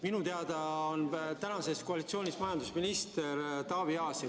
Minu teada on praeguses koalitsioonis majandusministriks Taavi Aas.